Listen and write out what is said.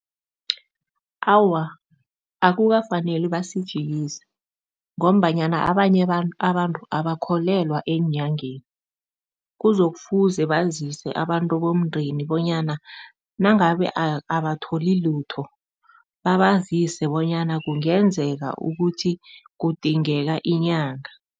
Awa, akukafaneli basijikise ngombanyana abanye abantu abakholelwa eenyangeni. Kuzokufuze bazise abantu bomndeni bonyana nangabe abatholi lutho, babazise bonyana kungenzeka ukuthi kudingeka inyanga.